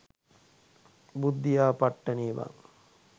බුද්ධියා පට්ටනේ බන්